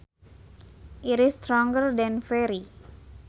It is stronger than very